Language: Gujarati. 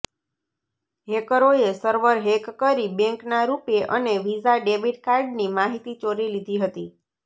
હેકરોએ સર્વર હેક કરી બેંકના રૂપે અને વીઝા ડેબિટ કાર્ડની માહિતી ચોરી લીધી હતી